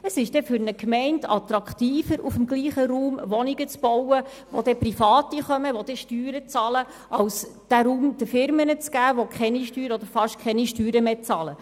Es ist für eine Gemeinde attraktiver, auf dem gleichen Raum Wohnungen für Private zu bauen, die dann Steuern zahlen werden, als diesen Raum Firmen zu geben, die keine oder nur wenige Steuern bezahlen.